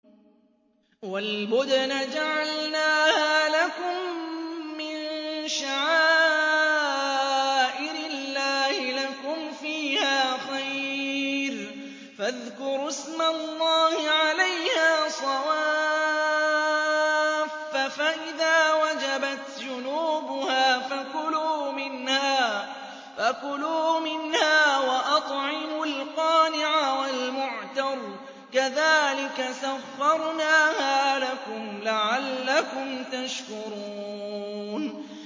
وَالْبُدْنَ جَعَلْنَاهَا لَكُم مِّن شَعَائِرِ اللَّهِ لَكُمْ فِيهَا خَيْرٌ ۖ فَاذْكُرُوا اسْمَ اللَّهِ عَلَيْهَا صَوَافَّ ۖ فَإِذَا وَجَبَتْ جُنُوبُهَا فَكُلُوا مِنْهَا وَأَطْعِمُوا الْقَانِعَ وَالْمُعْتَرَّ ۚ كَذَٰلِكَ سَخَّرْنَاهَا لَكُمْ لَعَلَّكُمْ تَشْكُرُونَ